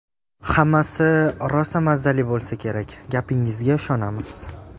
Hammasi rosa mazzali bo‘lsa kerak, gapingizga ishonamiz!